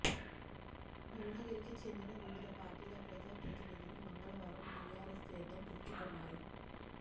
భువనగిరికి చెందిన వివిధ పార్టీల ప్రజాప్రతినిధులు మంగళవారం టిఆర్ఎస్ తీర్థం పుచ్చకున్నారు